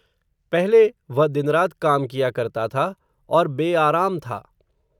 पहले, वह दिन रात काम किया करता था, और बेआराम था